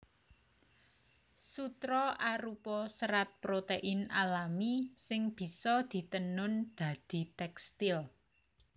Sutra arupa serat protein alami sing bisa ditenun dadi tèkstil